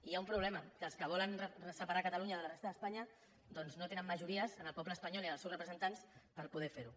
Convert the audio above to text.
i hi ha un problema que els que volen separar catalunya de la resta d’espanya doncs no tenen majories en el poble espanyol i en els seus representants per poder fer ho